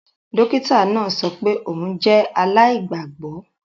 Dokita naa sọ pe oun jẹ alaigbagbọ